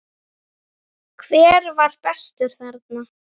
Hver var bestur þarna?